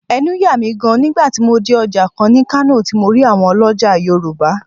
Ẹnu yà mí gaan ni nígbà tí mo dé Ọjà kan ní Kano tí mo rí àwọn ọlọ́já Yorùbá